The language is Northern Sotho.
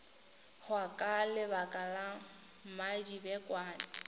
hwa ka lebaka la mmadibekwane